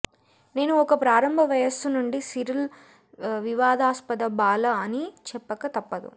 నేను ఒక ప్రారంభ వయస్సు నుండి సిరిల్ వివాదాస్పద బాల అని చెప్పక తప్పదు